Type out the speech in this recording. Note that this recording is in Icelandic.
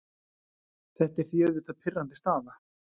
Þetta er því auðvitað pirrandi staða.